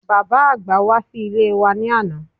Bàbá-àgbà wá sí ilé wa ní àná